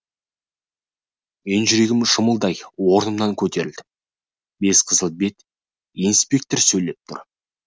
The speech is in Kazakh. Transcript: мен жүрегім шымылдай орнымнан көтерілдім бес қызыл бет инспектор сөйлеп тұр